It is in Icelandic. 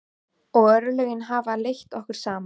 Og örlögin hafa leitt okkur saman.